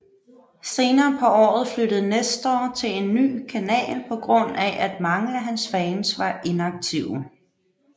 Senere på året flyttede Nestor til en ny kanal på grund af at mange af hans fans var inaktive